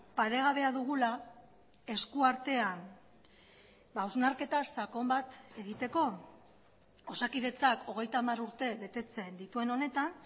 paregabea dugula eskuartean hausnarketa sakon bat egiteko osakidetzak hogeita hamar urte betetzen dituen honetan